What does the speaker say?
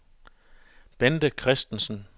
Bente Kristensen